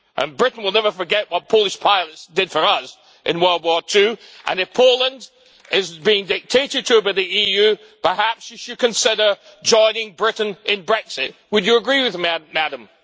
Britain will never forget what Polish pilots did for us in World War II, and if Poland is being dictated to by the EU, perhaps you should consider joining Britain in Brexit would you agree with me, Madam?